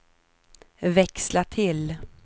växla till